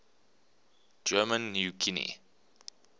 german new guinea